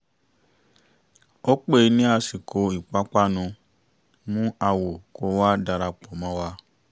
ó pé ni àsìkò ìpápánu; mú àwo kó wá darapọ̀ mọ́ wa